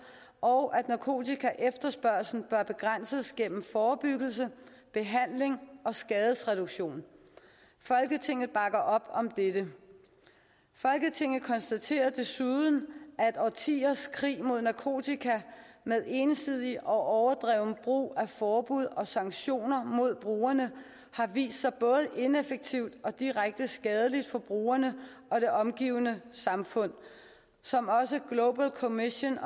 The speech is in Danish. og at narkotikaefterspørgslen bør begrænses gennem forebyggelse behandling og skadesreduktion folketinget bakker op om dette folketinget konstaterer desuden at årtiers krig mod narkotika med ensidig og overdreven brug af forbud og sanktioner mod brugerne har vist sig både ineffektivt og direkte skadelig for brugerne og det omgivende samfund som også clobal commission